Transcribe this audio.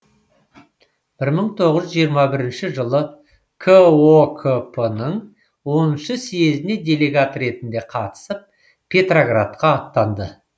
мың тоғыз жүз жиырма бірінші жылы кокп ның оныншы съезіне делегат ретінде қатысып петроградқа аттанды